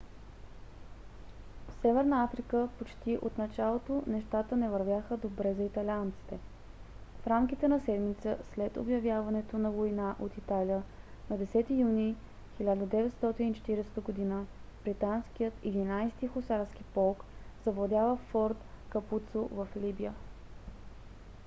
в северна африка почти от началото нещата не вървяха добре за италианците. в рамките на седмица след обявяването на война от италия на 10 юни 1940 г.британският 11 - ти хусарски полк завладява форт капуцо в либия